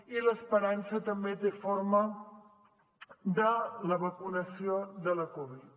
i l’esperança també té forma de la vacunació de la covid